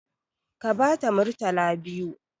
Ka bata murtala biyu!